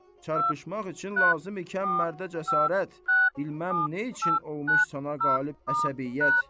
Çarpışmaq üçün lazım ikən mərdə cəsarət, bilməm nə üçün olmuş sənə qalib əqsədiyyət.